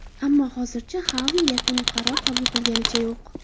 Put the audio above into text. Ammo hozircha Xavi yakuniy qaror qabul qilganicha yo‘q.